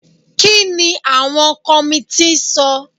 Kí ni àwọn kọmití sọ?